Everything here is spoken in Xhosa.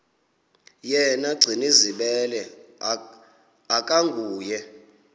yena gcinizibele akanguye